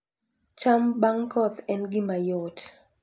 cham bang' koth, en gima yot